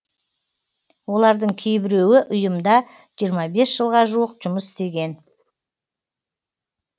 олардың кейбіреуі ұйымда жиырма бес жылға жуық жұмыс істеген